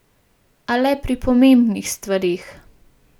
A le pri pomembnih stvareh.